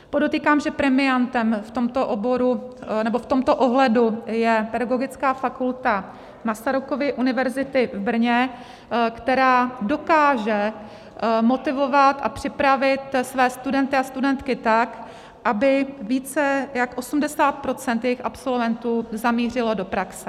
Podotýkám, že premiantem v tomto ohledu je Pedagogická fakulta Masarykovy univerzity v Brně, která dokáže motivovat a připravit své studenty a studentky tak, aby více jak 80 % jejích absolventů zamířilo do praxe.